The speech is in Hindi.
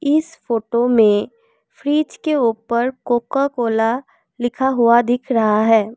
इस फोटो मे फ्रिज के ऊपर कोकाकोला लिखा हुआ दिख रहा है।